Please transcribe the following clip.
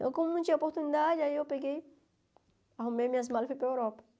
Então, como não tinha oportunidade, aí eu peguei, arrumei minhas malas e fui para a Europa.